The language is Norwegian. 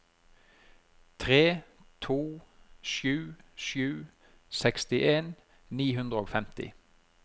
tre to sju sju sekstien ni hundre og femti